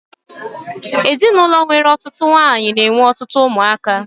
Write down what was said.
Ezinaụlọ nwere ọtụtụ nwaanyị n'enwe ọtụtụ ụmụ aka